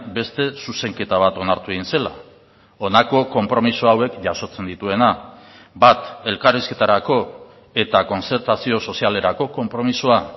beste zuzenketa bat onartu egin zela honako konpromiso hauek jasotzen dituena bat elkarrizketarako eta kontzertazio sozialerako konpromisoa